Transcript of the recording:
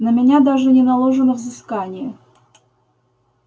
на меня даже не наложено взыскание